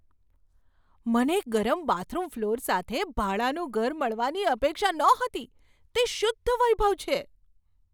મને ગરમ bathroom floor સાથે ભાડાનું ઘર મળવાની અપેક્ષા નહોતી તે શુદ્ધ વૈભવ છે!